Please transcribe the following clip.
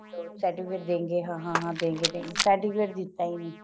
certificate ਦੇਂਗੇ ਹਾਂ ਹਾਂ ਦੇਂਗੇ certificate ਦਿੱਤਾ ਹੀ ਨੀ